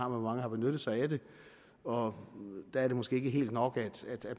hvor mange har benyttet sig af det og der er det måske ikke helt nok at